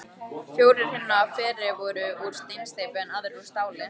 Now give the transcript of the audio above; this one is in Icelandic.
Fjórir hinna fyrri voru úr steinsteypu, en aðrir úr stáli.